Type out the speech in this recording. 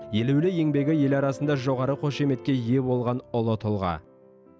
елеулі еңбегі ел арасында жоғары қошеметке ие болған ұлы тұлға